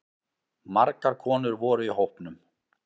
Margar konur voru í hópnum